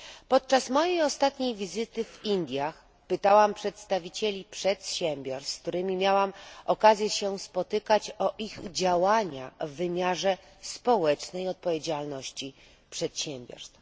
Podczas mojej ostatniej wizyty w Indiach pytałam przedstawicieli przedsiębiorstw, z którymi miałam okazję się spotkać, o ich działania w wymiarze społecznej odpowiedzialności przedsiębiorstw.